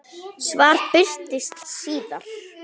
Svar birtist síðar.